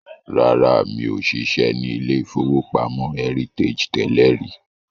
Rárá, mi ò ṣiṣẹ́ ní ilé-ìfowópamọ́ Heritage tẹ́lẹ̀ rí